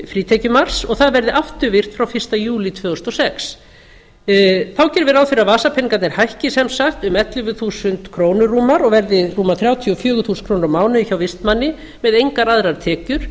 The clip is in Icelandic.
frítekjumarks og það verði afturvirkt frá fyrsta júlí tvö þúsund og sex þá gerum við ráð fyrir að vasapeningarnir hækki sem sagt um ellefu þúsund krónur rúmar og verði rúmar þrjátíu og fjögur þúsund krónur á mánuði hjá vistmanni með engar aðrar tekjur